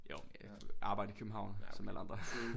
Jo arbejde i København som alle andre